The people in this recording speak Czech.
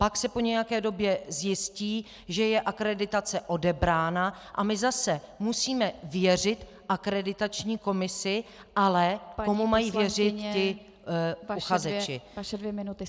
Pak se po nějaké době zjistí, že je akreditace odebrána, a my zase musíme věřit akreditační komisi - ale komu mají věřit ti uchazeči?